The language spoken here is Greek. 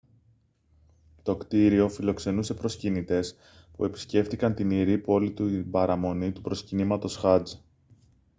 το κτίριο φιλοξενούσε προσκυνητές που επισκέφτηκαν την ιερή πόλη την παραμονή του προσκυνήματος χατζ